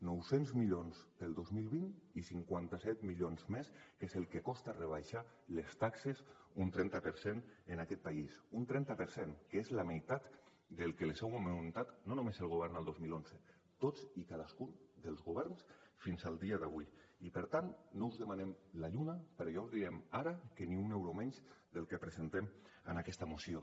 nou cents milions pel dos mil vint i cinquanta set milions més que és el que costa rebaixar les taxes un trenta per cent en aquest país un trenta per cent que és la meitat del que les heu augmentat no només el govern al dos mil onze tots i cadascun dels governs fins al dia d’avui i per tant no us demanem la lluna però ja us diem ara que ni un euro menys del que presentem en aquesta moció